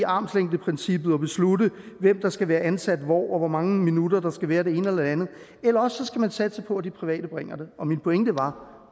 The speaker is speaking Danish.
armslængdeprincippet og beslutte hvem der skal være ansat hvor og hvor mange minutter der skal være af det ene og det andet eller også skal man satse på at de private bringer det og min pointe var